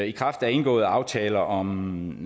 i kraft af indgåede aftaler om